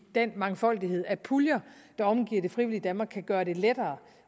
den mangfoldighed af puljer der omgiver det frivillige danmark kan gøre det lettere